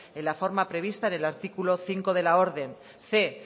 en la forma prevista en el artículo cinco de la orden cien